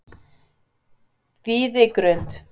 Víðigrund